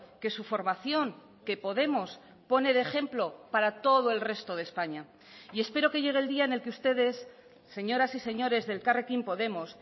que su formación que podemos pone de ejemplo para todo el resto de españa y espero que llegue el día en el que ustedes señoras y señores de elkarrekin podemos